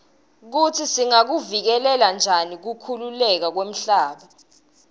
kutsi singakuvikela njani kukhukhuleka kwemhlaba